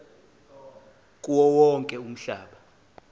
kuwo wonke umhlaba